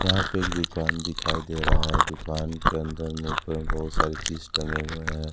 यहां पे एक दुकान दिखाई दे रहा है दुकान के अंदर मुंह पे बहुत सारी चीज टंगे हुए हैं।